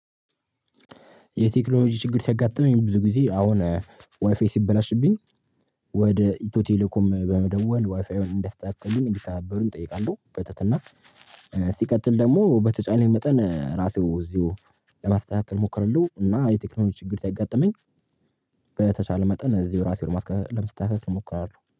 የቴክኖሎጂ ችግር ሲያጋጥመኝ ብዙ ጊዜ አሁን ዋይፋይ ሲበላሽብኝ ወደ ኢትዮ ቴሌኮም በመደወል ዋይፋዩን እንዲያስተካክልሉኝ እንዲተናበሩኝ እጠይቃለሁ። በተትና ሲቀጥል ደግሞ በተቻለኝ መጠን ራሴው እዚሁ ለማስተካከል ሞክራለሁ። እና የቴክኖሎጂ ችግር ሲያጋጥመኝ በተቻለ መጠን እዚሁ ራሴን ለማስተካከል እሞክራለሁ